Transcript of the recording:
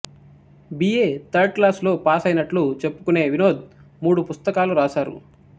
be A third class లో పాసయినట్లు చెప్పుకునే వినోద్ మూడు పుస్తకాలు రాసారు